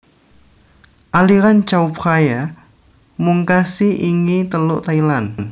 Aliran Chao Phraya mungkasi ingi Teluk Thailand